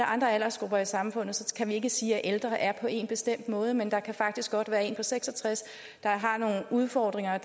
andre aldersgrupper i samfundet kan vi ikke sige at ældre er på en bestemt måde men der kan faktisk godt være en på seks og tres der har nogle udfordringer